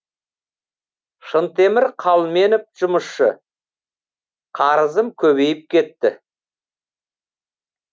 шынтемір қалменов жұмысшы қарызым көбейіп кетті